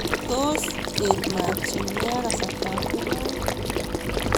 Tos eet maat yu neya kasartap kemeut.